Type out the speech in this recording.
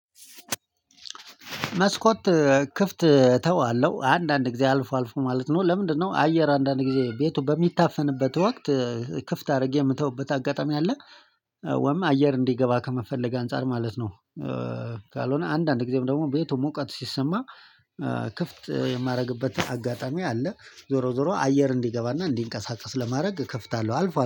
መስኮት ክፍት ተዋለሁ አንዳንድ ጊዜ አልፎ አልፎ ማለት ነው። ለምንድነው አየር አንዳንድ ጊዜ ቤቱ በሚታፈንበት ወቅት ክፍት አድርጌ የምተውበት አጋጣሚ አለ ወይም አየር እንዲገባ ከመፈለግ አንፃር ማለት ነው። ካልሆነ አንዳንድ ጊዜም ደግሞ ቤቱ ሙቀት ሲሰማ ክፍት የማደርግበት አጋጣሚ አለ። ዞሮ ዞሮ አየር እንዲገባና እንዲንቀሳቀስ ለማድረግ እከፍታለሁ አልፏል